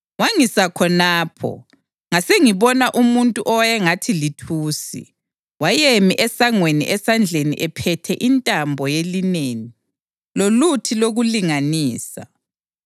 Wangisa khonapho, ngasengibona umuntu owayengathi lithusi, wayemi esangweni esandleni ephethe intambo yelineni loluthi lokulinganisa.